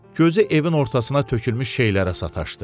Gözü evin ortasına tökülmüş şeylərə sataşdı.